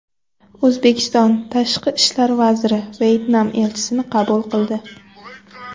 O‘zbekiston Tashqi ishlar vaziri Vyetnam elchisini qabul qildi.